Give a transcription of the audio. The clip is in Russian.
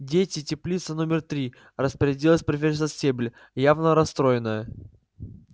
дети теплица номер три распорядилась профессор стебль явно расстроенная